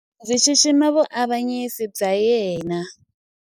ndzi xixima vuavanyisi bya yena